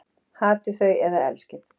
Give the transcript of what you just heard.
Hatið þau eða elskið